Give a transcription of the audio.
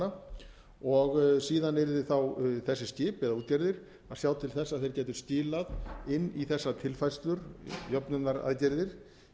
eða skipanna og síðan yrðu þessi skip eða útgerðir að sjá til þess að þeir geti skilað inn í þessa tilfærslur jöfnunaraðgerðir